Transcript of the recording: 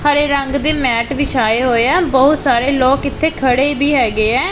ਹਰੇ ਰੰਗ ਦੇ ਮੈਟ ਵਿਛਾਏ ਹੋਏ ਆ ਬਹੁਤ ਸਾਰੇ ਲੋਕ ਇੱਥੇ ਖੜੇ ਵੀ ਹੈਗੇ ਐ।